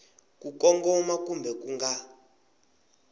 ku kongoma kumbe ku nga